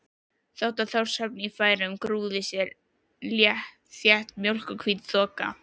Yfir Þórshöfn í Færeyjum grúfði þétt mjólkurhvít þoka.